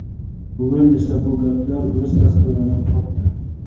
Bugun esa bu gaplar o‘z tasdig‘ini topdi.